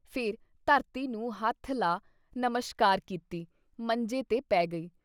ਫਿਰ ਧਰਤੀ ਨੂੰ ਹੱਥ ਲਾ ਨਮਸ਼ਕਾਰ ਕੀਤੀ, ਮੰਜੇ 'ਤੇ ਪੈ ਗਈ।